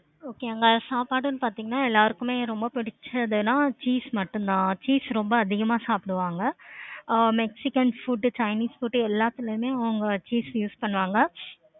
okay அங்க சாப்பாடும் பார்த்தீங்கன்னா எல்லாருக்கும் ரொம்ப பிடிச்சதுதுன்னா cheese மட்டும் தான் cheese ரொம்ப அதிகமா சாப்பிடுவாங்க. Ah mexican food chinese food எல்லாத்துலையுமே அவங்க cheese use பண்ணுவாங்க.